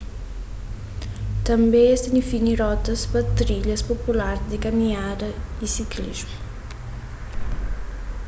tanbê es ta defini rotas pa trilhas popular di kaminhada y siklismu